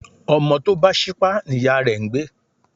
Ọmọ tọ bá sípá ní iyà rẹ́ ń gbẹ